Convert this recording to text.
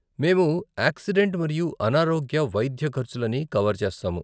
మేము ఏక్సిడెంట్ మరియు అనారోగ్య వైద్య ఖర్చులని కవర్ చేస్తాము.